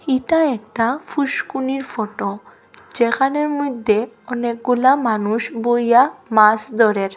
ইটা একটা ফুসকুনির ফোটো যেখানের মইদ্যে অনেকগুলা মানুষ বইয়া মাছ দরের।